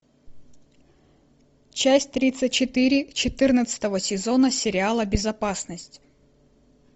часть тридцать четыре четырнадцатого сезона сериала безопасность